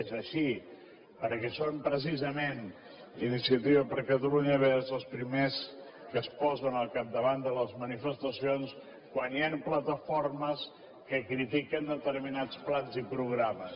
és així perquè són precisament iniciativa per catalunya verds els primers que es posen al capdavant de les manifestacions quan hi han plataformes que critiquen determinats plans i programes